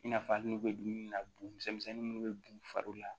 I n'a fɔ hali n'u bɛ dumuni na bugumisɛnnin minnu bɛ b'u fari la